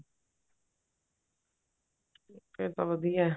ਫੇਰ ਤਾਂ ਵਧੀਆ